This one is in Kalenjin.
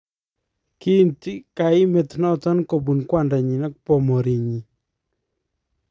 Kiinti kaimet noton kobuun kwandanyin ak bomoriinyin.